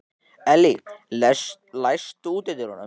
Elly, læstu útidyrunum.